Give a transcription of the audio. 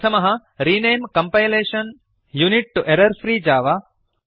प्रथमः रेणमे compilation unit तो एरर्फ्री जव